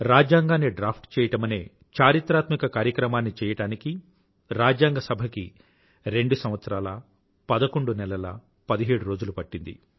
రాజ్యాంగాన్ని డ్రాఫ్ట్ చెయ్యడమనే చారిత్రాత్మక కార్యక్రమాన్ని చెయ్యడానికి రాజ్యాంగ సభకి రెండు సంవత్సరాల పదకొండు నెలల పదిహేడురోజులు పట్టింది